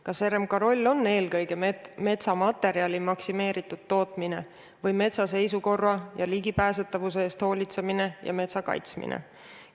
Kas RMK roll on eelkõige metsamaterjali maksimeeritud tootmine või metsa seisukorra ja ligipääsetavuse eest hoolitsemine ja metsa kaitsmine?